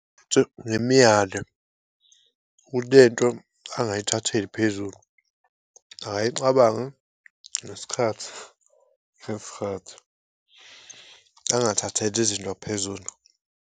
Ngimyale ukuthi lento angayithatheli phezulu, akayicabange ngesikhathi angathatheli izinto phezulu.